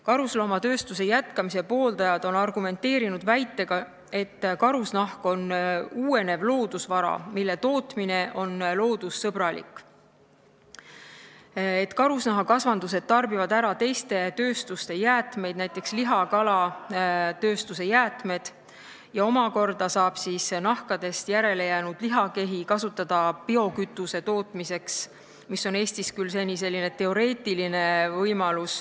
Karusnahatööstuse jätkamise pooldajad on argumenteerinud väitega, et karusnahk on uuenev loodusvara, mille tootmine on loodussõbralik, karusloomakasvandused tarbivad teiste tööstuste jäätmeid, näiteks liha- ja kalatööstuse jäätmeid, ja nahkadest järelejäänud lihakehi saab omakorda kasutada biokütuse tootmiseks, mis on Eestis küll seni teoreetiline võimalus.